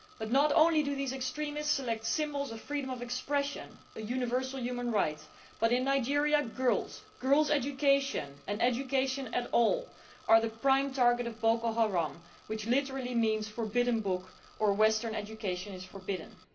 Not only do these extremists select symbols of freedom of expression a universal human right but in Nigeria, girls' education or any education at all is the prime target of Boco Haram, which literally means forbidden book' or Western education is forbidden'.